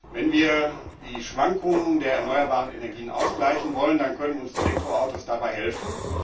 Wenn wir die Schwankungen der erneuerbaren Energien ausgleichen wollen, dann können uns Elektroautos dabei helfen.